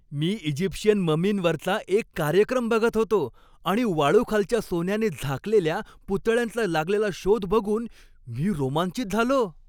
मी Egyptian ममींवरचा एक कार्यक्रम बघत होतो आणि वाळूखालच्या सोन्याने झाकलेल्या पुतळ्यांचा लागलेला शोध बघून मी रोमांचित झालो.